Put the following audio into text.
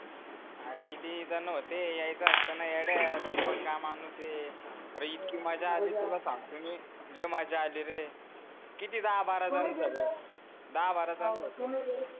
आरे किती जन होते यायचा आसता ना यड्या तू पण काय माणूस ए आरे इतकी मजा आली तुला सांगतो नि लय मजा आली रे किती दहा बारा दहा बारा जणच होतो